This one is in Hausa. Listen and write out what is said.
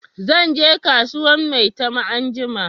Zan je kasuwan maitama anjima